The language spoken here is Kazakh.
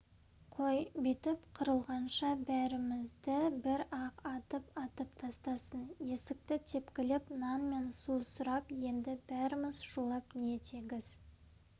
қой бүйтіп қырылғанша бәрімізді бір-ақ атып-атып тастасын есікті тепкілеп нан мен су сұрап енді бәріміз шулап не тегіс